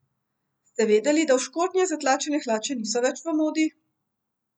Ste vedeli, da v škornje zatlačene hlače niso več v modi?